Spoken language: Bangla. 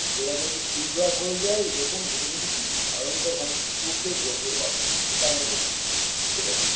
এরা কিন্তু school drop হয়ে যায় এবং এদের কিন্তু ভয়ঙ্কর চোখের রোগে এরা ভোগেএটা আমরা দেখেছি ঠিকাছে